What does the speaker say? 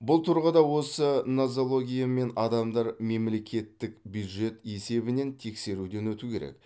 бұл тұрғыда осы нозологиямен адамдар мемлекеттік бюджет есебінен тексеруден өтуі керек